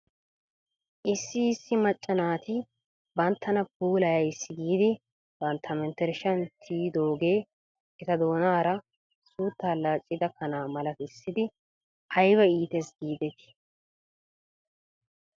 Issi issi macca naati banttana puulayays giidi bantta menttershshan tiyidoogee eta doonaara suuttaa laaccida kanaa malatissidi ayba iites giidetii ?